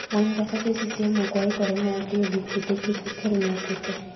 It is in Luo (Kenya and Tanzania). wan kaka jo CCM ok waikore mar tiyo gi kute, kik ukelnwa kute